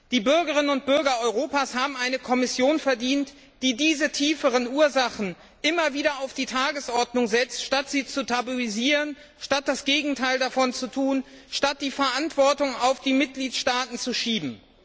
Die Bürgerinnen und Bürger Europas haben eine Kommission verdient, die diese tieferen Ursachen immer wieder auf die Tagesordnung setzten, anstatt sie zu tabuisieren, anstatt das Gegenteil davon zu tun, anstatt die Verantwortung auf die Mitgliedstaaten zu schieben.